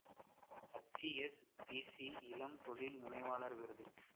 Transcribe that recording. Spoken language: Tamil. எச் எஸ் பி சி இளம் தொழில் முனைவாளர் விருது